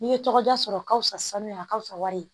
N'i ye tɔgɔ da sɔrɔ ka fisa sanuya a ka fisa wari ye